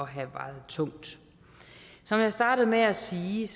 have vejet tungt som jeg startede med at sige